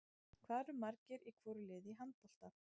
Hvað eru margir í hvoru liði í handbolta?